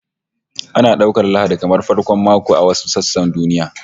Ana daukar Lahadi kamar farkon mako a wasu sassan duniya